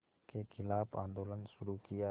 के ख़िलाफ़ आंदोलन शुरू किया